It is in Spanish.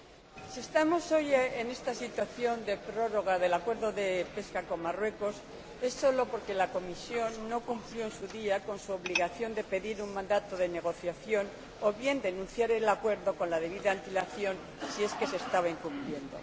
Señor Presidente, si estamos hoy en esta situación de prórroga del Acuerdo de pesca con Marruecos es solo porque la Comisión no cumplió en su día con su obligación de pedir un mandato de negociación o bien de denunciar el Acuerdo con la debida antelación, si es que se estaba incumpliendo.